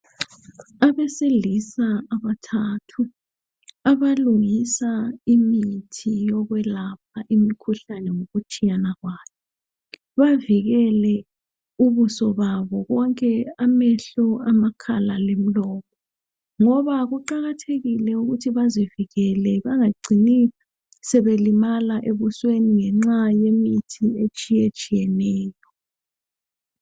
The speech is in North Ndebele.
Abesilisa abathathu abalungisa imithi yokwelapha imikhuhlane ngokutshiyana kwayo. Bavikele ubuso babo konke amehlo, amakhala lemlomo ngoba kuqakathekile ukuthi bazivikele bangacini sebelimala ebusweni ngenxa yemithi etshiyetshiyeneyo.